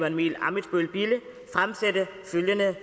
emil ammitzbøll bille fremsætte følgende